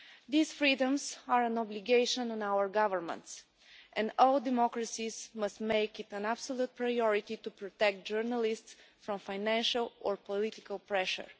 These freedoms are an obligation on our governments, and all democracies must make it an absolute priority to protect journalists from financial or political pressure.